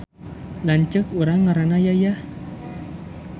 Lanceuk urang ngaranna Yayah